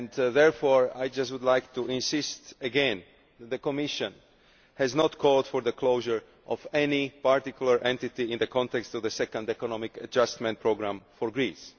Therefore I would just like to insist again that the Commission has not called for the closure of any particular entity in the context of the second economic adjustment programme for Greece.